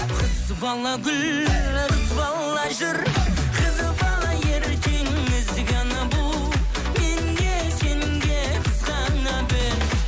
қыз бала гүл қыз бала жүр қыз бала ертең ізгі ана бұл мен де сен де қызғана біл